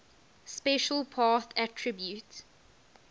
special path attribute